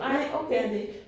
Nej okay